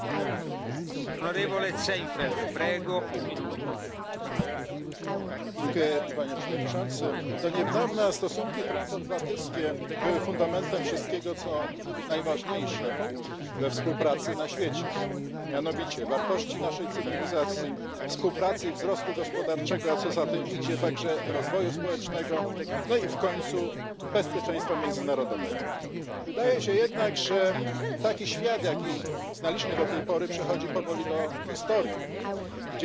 I fully agree with this but, in order to benefit the people, our cooperation should be dominated by human rights issues and social standards. Instead, our cooperation is dominated by commercial interests. China is probably bigger and stronger than ever before, but please remember that it was this big and strong China that put the Nobel Prize laureate for peace, Liu Xiobo, in Laogai, a detention camp supposed to re educate and reform through labour. The fact is that it is a prison where people are forced to work.